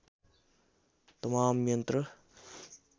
तमाम यन्त्र